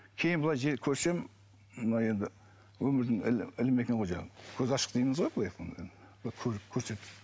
кейін былай жай көрсем мына енді өмірдің ілімі екен ғой жаңағы көзі ашық дейміз ғой былай айтқанда көріп көрсетіп